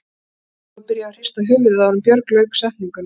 Lóa var byrjuð að hrista höfuðið áður en Björg lauk setningunni.